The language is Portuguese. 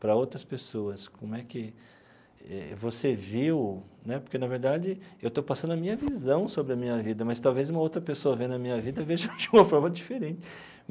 para outras pessoas, como é que você viu né, porque, na verdade, eu estou passando a minha visão sobre a minha vida, mas talvez uma outra pessoa vendo a minha vida veja de uma forma diferente.